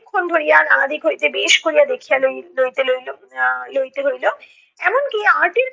ক্ষণ ধরিয়া নানাদিক হইতে বেশ করিয়া দেখিয়া লই~ লইতে লইলো আহ লইতে হইলো। এমনকি